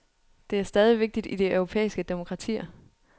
Det er stadig vigtigt i de europæiske demokratier.